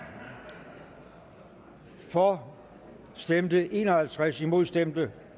for for stemte en og halvtreds imod stemte